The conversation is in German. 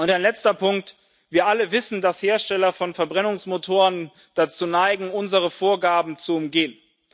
Ein letzter Punkt Wir alle wissen, dass Hersteller von Verbrennungsmotoren dazu neigen, unsere Vorgaben zu umgehen.